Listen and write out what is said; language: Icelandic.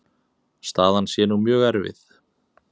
Staðan sé nú mjög erfið.